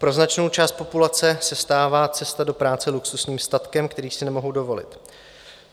Pro značnou část populace se stává cesta do práce luxusním statkem, který si nemohou dovolit.